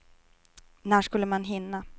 När skulle man hinna?